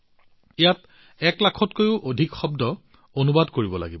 ১ লাখতকৈও অধিক শব্দ অনুবাদ কৰিব লাগিব